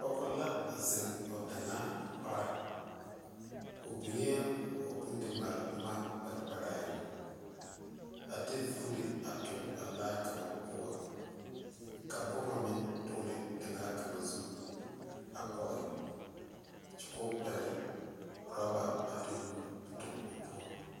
Pɔge la zeŋ o daŋaa pare o biŋe o bondimaale boma kpɛnkpɛrɛŋ a de vuuli a toŋ a laa kaŋa poɔ kaboma meŋ dogle daŋaa kaŋa zu a pɔge kyɛ k,o pɛgle orɔba a de o nu toŋ o poɔ.